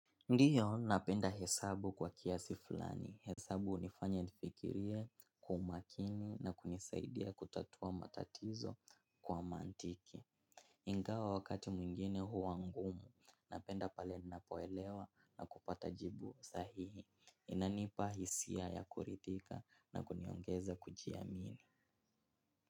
Ndiyo napenda hesabu kwa kiasi fulani, hesabu unifanya nifikirie kwa umakini na kunisaidia kutatua matatizo kwa mantiki ingawa wakati mwingine huwa ngumu, napenda pale ninapoelewa na kupata jibu sahihi, inanipa hisia ya kurithika na kuniongeza kujiamini.